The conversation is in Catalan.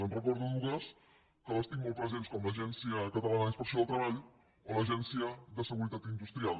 en recordo dues que les tinc molt presents com l’agència catalana d’inspecció del treball o l’agència de seguretat industrial